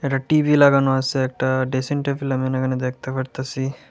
একটা টি_ভি লাগানো আছে একটা ড্রেসিং টেবিল আমি এখানে দেখতে পারতাছি।